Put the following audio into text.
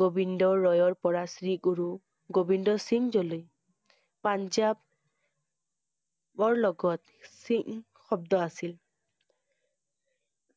গোবিন্দ ৰায়ৰ পৰা শ্ৰীগুৰু গোবিন্দ সিংহ লৈ পাঞ্জাব~বৰ লগত সিংহ শব্দ আছিল।